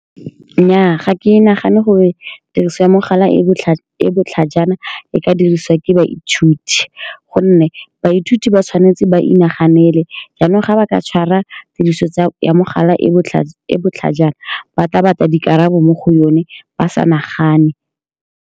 Nnyaa, ga ke nagane gore tiriso ya mogala e e e botlhajana e ka dirisiwa ke baithuti, ka gonne baithuti ba tshwanetse ba inaganele. Jaanong, fa ba ka tshwara tiriso ya mogala e e e e botlhajana, ba tla batla dikarabo mo go yone ba sa nagane.